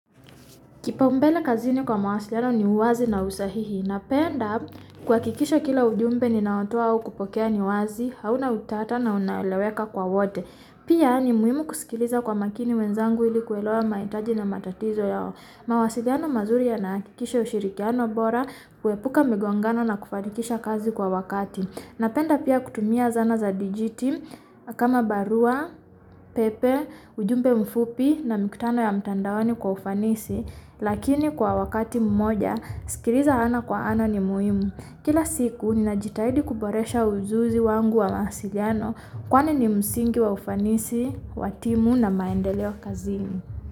Kipaumbele kazini kwa mawasiliano ni uwazi na usahihi. Napenda kuhakikisha kila ujumbe ninaotoa au kupokea ni wazi. Hauna utata na unaeleweka kwa wote. Pia ni muhimu kusikiliza kwa makini wenzangu ili kuelewa mahitaji na matatizo yao. Mawasiliano mazuri yanakikisha ushirikiano bora, kuepuka migongano na kufanikisha kazi kwa wakati. Napenda pia kutumia zana za digiti, kama barua, pepe, ujumbe mfupi na mkutano ya mtandaoni kwa ufanisi, lakini kwa wakati mmoja, sikiliza ana kwa ana ni muimu. Kila siku ninajitahidi kuboresha ujuzi wangu wa mawasiliano, kwani ni msingi wa ufanisi, wa timu na maendeleo kazini.